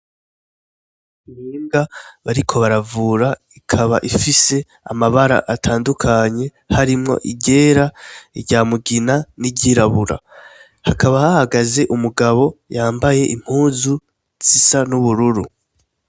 Imbwa bariko baravura ikaba ifise amabara atandukanye, harimwo iryera , irya mugira n'iryirabura .Hakaba hahagaze umugabo yambaye impuzu zisa n'ubururu.